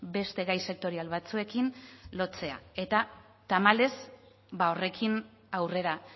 beste gai sektorial batzuekin lotzea eta tamalez ba horrekin aurrera